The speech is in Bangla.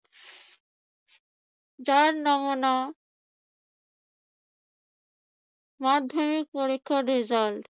যার নমুনা মাধ্যমিক পরীক্ষা রেজাল্ট